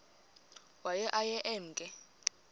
waye aye emke